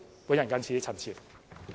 我謹此陳辭。